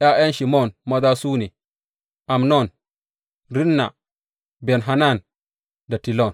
’Ya’yan Shimon maza su ne, Amnon, Rinna, Ben Hanan da Tilon.